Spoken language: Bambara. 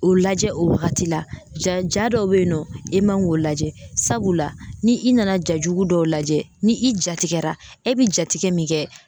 O lajɛ o wagati la ja ja dɔw be yen nɔ i man k'o lajɛ sabula ni i nana ja jugu dɔw lajɛ ni i jatigɛra e bɛ jatigɛ min kɛ